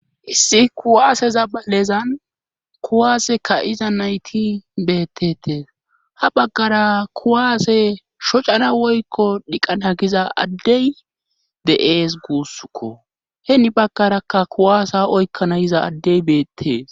Issi kuwaaseza balezan kuwaase ka iza nayti beettetees ha baggara kuwaase shocana woykko dhiqana giza addey de'ees guussukko heeni baggaraka kuwaasa oykkana yiza addey beettees.